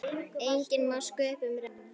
Enginn má sköpum renna.